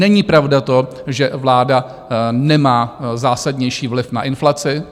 Není pravda to, že vláda nemá zásadnější vliv na inflaci.